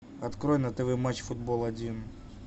открой на тв матч футбол один